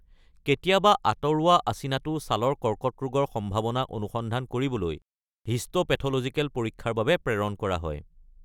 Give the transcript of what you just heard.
কেতিয়াবা আঁতৰোৱা আচিনাটো ছালৰ কৰ্কট ৰোগৰ সম্ভাৱনা অনুসন্ধান কৰিবলৈ হিষ্টোপেথলজিকেল পৰীক্ষাৰ বাবে প্ৰেৰণ কৰা হয়।